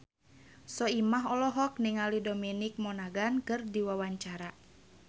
Soimah olohok ningali Dominic Monaghan keur diwawancara